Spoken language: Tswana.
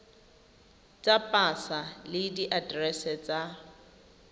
tsa pasa le diaterese tsa